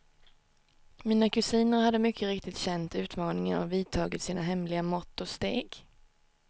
Mina kusiner hade mycket riktigt känt utmaningen och vidtagit sina hemliga mått och steg.